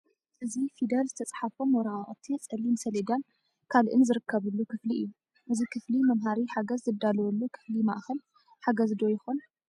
እዚ ፊደል ዝተፃሕፎም ወረቓቕቲ ፀሌም ሰሌዳን ካልእን ዝርከቡሉ ክፍሊ እዩ፡፡ እዚ ክፍሊ መምሃሪ ሓገዝ ዝዳለወሉ ክፍሊ ማእኸል ሓገዝ ዶ ይኸሉን?